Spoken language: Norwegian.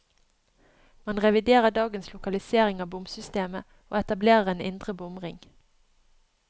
Man reviderer dagens lokalisering av bomsystemet, og etablerer en indre bomring.